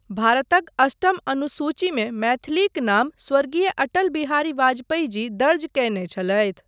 भारतक अष्टम सूचिमे मैथिलीक नाम स्वर्गीय अटल बिहारी वाजपेयी जी दर्ज कयने छलथि।